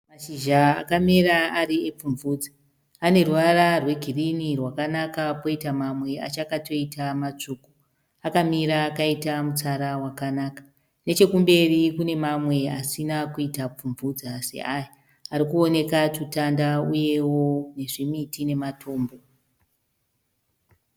Mashizha akamera epfumvudza. Ane ruvara rwegirini rwakanaka poita mamwe achakatoita matsvuku. Akamira akaita mutsara wakanaka. Nechokumberi kune mamwe asina kuita pfumvudza seaya, ari kuonekwa tutanda uyewo nezvimiti namatombo.